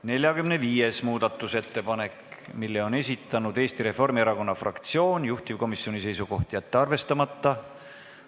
45. muudatusettepaneku on esitanud Eesti Reformierakonna fraktsioon, juhtivkomisjoni seisukoht: jätta see arvestamata.